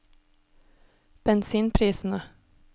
bensinprisene